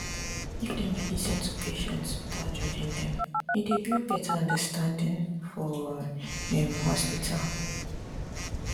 if dem dey lis ten to patients without judging them e dey build better understanding for um hospital